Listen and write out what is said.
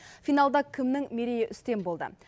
финалда кімнің мерейі үстем болды